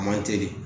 A man teli